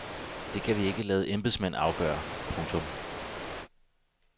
Det kan vi ikke lade embedsmænd afgøre. punktum